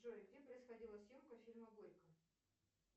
джой где происходила съемка фильма горько